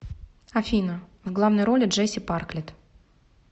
афина в главной роли джеси парклет